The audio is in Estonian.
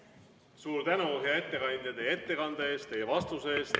Suur tänu, hea ettekandja, teie ettekande eest ja vastuse eest!